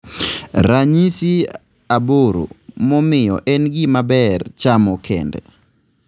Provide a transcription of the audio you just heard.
ranyisi aboro momiyo en gimaber chamo kende